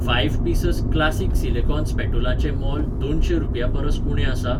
Five pieces classic silicone स्पॅटुलाचें मोल दोनशें रुपयां परस उणें आसा?